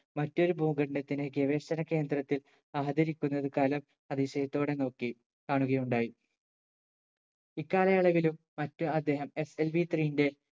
മറ്റൊരു ഭൂഖണ്ഡത്തിനെ ഗവേഷണ കേന്ദ്രത്തിൽ ആദരിക്കുന്നത് കലാം അതിശയത്തോടെ നോക്കി കാണുകയുണ്ടായി ഇക്കാലയളവിലും മറ്റ് അദ്ദേഹം SLV 3 ന്റെ